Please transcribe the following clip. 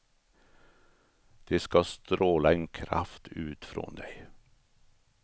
Det ska stråla en kraft ut från dig.